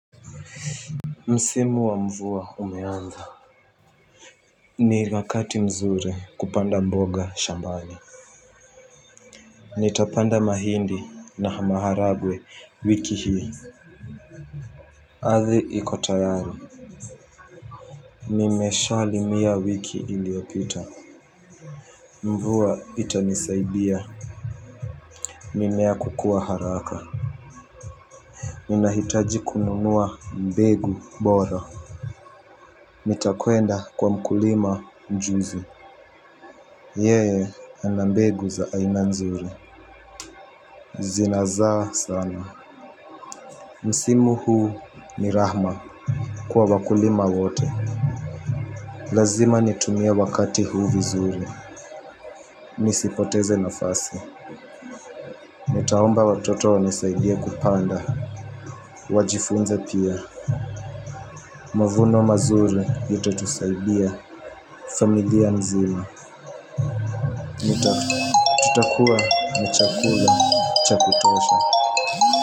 Msimu wa mvua umeanza. Ni wakati mzuri kupanda mboga shambani. Nitapanda mahindi na hamaharagwe wiki hii. Ardhi iko tayari nimeshalimia wiki iliyopita. Mvua itanisaidia. Mimea kukua haraka. Ninahitaji kununua mbegu bora. Nitakwenda kwa mkulima juzi. Yeye ana mbegu za aina nzuri. Zinazaa sana. Msimu huu ni rahma kwa wakulima wote. Lazima nitumie wakati huu vizuri. Nisipoteze nafasi. Nitaomba watoto wanisaidie kupanda. Wajifunze pia. Mavuno mazuri yatatusaidia. Familia nzima tutakuwa na chakula cha kutosha.